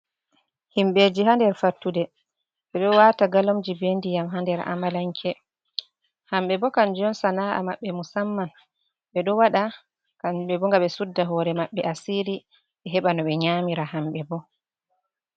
Himɓeji ha nder fattude ɓe ɗo wata galomji be ndiyam ha nder amalanke. Hamɓe bo kanjum sana’a maɓɓe, musamman, ɓe ɗo waɗa hamɓe bo ngam ɓe sudda hore maɓɓe asiri ɓe heɓa no ɓe nyamira hambe bo.